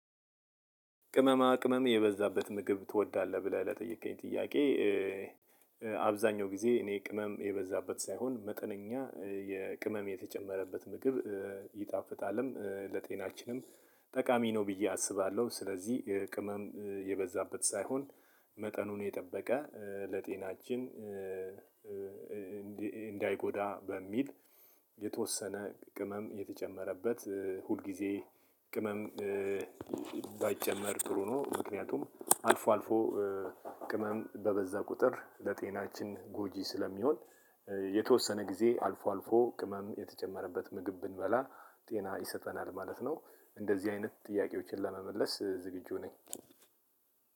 ቅመማ ቅመም የበዛበት ምግብ ትወዳለህ ብለህ ለጠየከኝ ጥያቄ? አብዛኛው ጊዜ እኔ ቅመም የበዛበት ሳይሆን መጠነኛ የቅመም የተጨመረበት ምግብ ይጣፍጣልም ለጤናችንም ጠቃሚ ነው ብዬ አስባለሁ። ስለዚህ ቅመም የበዛበት ሳይሆን መጠኑን የጠበቀ ለጤናችን። እንዳይጎዳ በሚል የተወሰነ ቅመም የተጨመረበት ሁልጊዜ ቅመም ባይጨመር ጥሩ ነው። ምክንያቱም አልፎ አልፎ ቅመም በበዛ ቁጥር ለጤናችን ጎጂ ስለሚሆን የተወሰነ ጊዜ አልፎ አልፎ ቅመም የተጨመረበት ምግብ ብንበላ ጤና ይሰጠናል ማለት ነው። እንደዚህ አይነት ጥያቄዎችን ለመመለስ ዝግጁ ነኝ።